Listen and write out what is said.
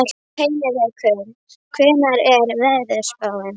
Heinrekur, hvernig er veðurspáin?